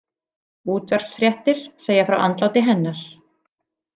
Útvarpsfréttir segja frá andláti hennar.